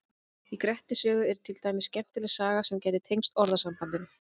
Í Grettis sögu er til dæmis skemmtileg saga sem gæti tengst orðasambandinu.